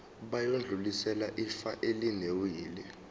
bayodlulisela ifa elinewili